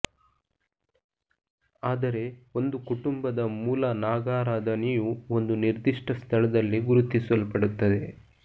ಆದರೆ ಒಂದು ಕುಟುಂಬದ ಮೂಲ ನಾಗಾರಾಧನೆಯು ಒಂದು ನಿರ್ದಿಷ್ಟ ಸ್ಥಳದಲ್ಲಿ ಗುರುತಿಸಲ್ಪಡುತ್ತದೆ